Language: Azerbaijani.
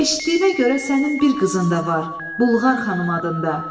Eşitdiyimə görə sənin bir qızın da var, Bulqar xanım adında.